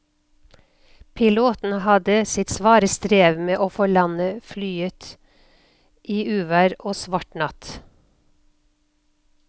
Piloten hadde sitt svare strev med å få landet flyet i uvær og svart natt.